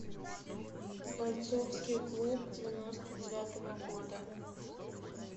бойцовский клуб девяносто девятого года